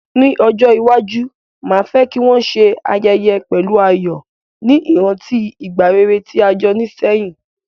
Ní ojó iwaju, ma fe ki won se ayẹyẹ pẹ̀lu ayò, ni ìrántí ìgbà rere ti a jo ni sehín